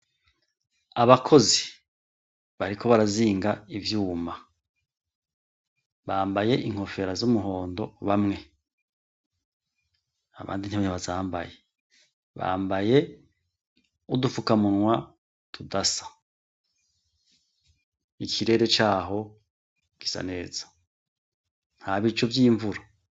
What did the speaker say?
Abakozi ariko barazinga ivyuma. Bambaye inkofero z'umuhondo bamwe, abandi ntibazambaye. Bambaye, n'udufukamunwa tudasa. Ikirere caho gisa neza, nta bicu vy'imvyura.